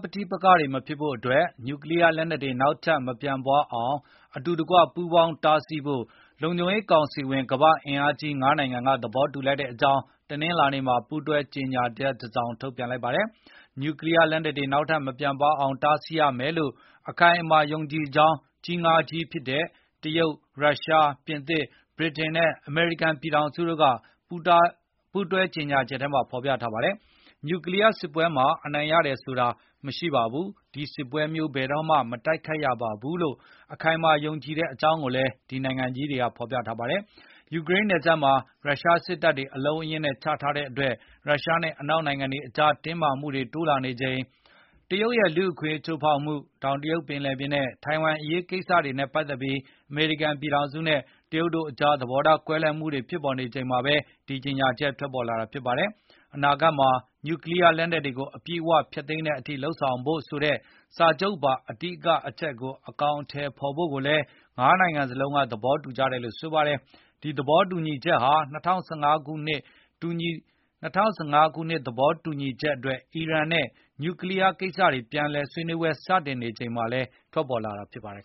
ပဋိပက္ခတွေမဖြစ်ဖို့အတွက် နျူးကလီးယား လက်နှက်တွေနောက်ထပ် မပြန့်ပွားဆောင်အတူတကွပူးပေါင်းတာဆီးဖို့ လုံခြုံရေးကောင်စီဝင် ကမ္ဘာ့အင်အားကြီး ၅ နိုင်ငံက သဘောတူလိုက်ကြောင်း တနင်္လာနေ့မှာ ပူးတွဲကြေငြာချက်တစောင်ထုတ် ပြန်လိုက်ပါတယ်။ နျူးကလီးယား လက်နက်တွေ နောက်ထပ်မပြန့်ပွားအောင် တားဆီးရမယ်လို့အခိုင် အမာယုံကြည်ကြောင်း ကြီး ၅ ကြီးဖြစ်တဲ့ တရုတ်၊ ရုရှား၊ ပြင်သစ်၊ ဗြိတိန် နဲ့ အမေရိကန်ပြည်ထောင်စုတို့က ပူးတွဲကြေညာချက်ထဲမှာဖေါ်ပြထားပါတယ်။ နျူးကလီးယား စစ်ပွဲမှာ အနိုင်ရတယ်ဆိုတာရှိမှာမဟုတ်ပါဘူး၊ ဒီစစ်ပွဲမျိုးဘယ်တော့မှ မတိုက်ခိုက်ရဘူးလို့ အခိုင်အမာယုံကြည်တယ်လို့လည်း ဒီနိုင်ငံကြီးတွေက ဖေါ်ပြထား ပါတယ်။ ယူကရိန်းနယ်စပ်မှ ာ ရုရှားစစ်တပ်တွေ အလုံးအရင်းနဲ့ ချထားတဲ့အတွက် ရုရှားနဲ့ အနောက် နိုင်ငံတွေကြား တင်းမာမှုနဲ့၊ တရုတ်ရဲ့ လူ့အခွင့်အရေး ချိုးဖေါက်မှု၊ တောင်တရုတ် ပင်လယ်ပြင်နဲ့ ထိုင်ဝမ်အရေး စတာတွေနဲ့ ပတ်သက်ပြီး အမေရိကန်ပြည် ထောင်စုနဲ့ တရုတ်တို့အကြား သဘောထား ကွဲလွဲမှုတွေ ဖြစ်ပေါ်နေချိန်မှာဘဲ ဒီကြေညာချက်ထွက် ပေါ်လာတာပါ။ အနာဂတ်မှာ နျူးကလီးယား လက်နက်တွေကို အပြည့်အ၀ ဖျက်သိမ်းတဲ့အထိ လုပ်ဆောင်ဖို့ ဆိုတဲ့ စာချုပ်ပါ အဓိကအချက်ကို အကောင်အထည်ဖေါ်ဖို့ကိုလည်း ၅ နိုင်ငံစလုံးက သဘောတူကြ တယ်လို့ဆိုပါတယ်။ ဒီသဘောတူညီချက်ဟာ ၂၀၁၅ သေဘာတူညီချက်အတွက် အီရန်နဲ့ နျူးကလီးယား ကိစ္စတွေပြန်လည် စတင်ဆွေးနွေးနေချိန်မှာ ထွက်ပေါ်လာ တာလည်းဖြစ်ပါတယ်